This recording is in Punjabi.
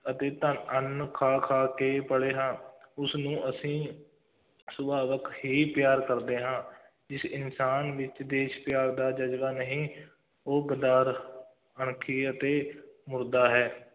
ਅਤੇ ਧੰ ਅੰਨ੍ਹ ਖਾ-ਖਾ ਕੇ ਪਲੇ ਹਾਂ ਉਸਨੂੰ ਅਸੀਂ ਸੁਭਾਵਿਕ ਹੀ ਪਿਆਰ ਕਰਦੇ ਹਾਂ ਜਿਸ ਇਨਸਾਨ ਵਿੱਚ ਦੇਸ਼ ਪਿਆਰ ਦਾ ਜ਼ਜ਼ਬਾ ਨਹੀਂ, ਉਹ ਗਦਾਰ, ਅਣਖੀ ਅਤੇ ਮੁਰਦਾ ਹੈ,